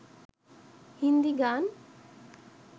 হিন্দী গান